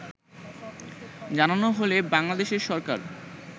জানানো হলে বাংলাদেশের সরকার